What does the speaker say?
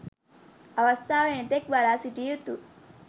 අවස්ථාව එනතෙක් බලාසිටිය යුතු